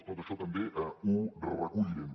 tot això també ho recollirem